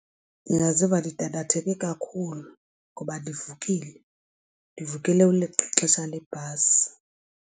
Ndingaziva ndidandatheke kakhulu ngoba ndivukile, ndivukele uleqa ixesha lebhasi.